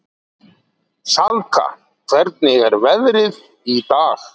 Salka, hvernig er veðrið í dag?